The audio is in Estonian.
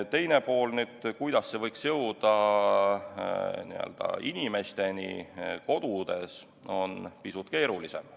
Teine pool, kuidas see võiks jõuda inimesteni kodudes, on pisut keerulisem.